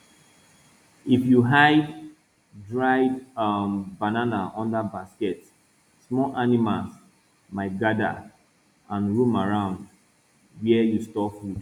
if you hide dried um banana under basket small animals might gather and roam around where you store food